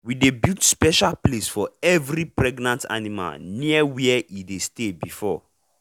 we dey build special place for every pregnant animal near where e dey stay before.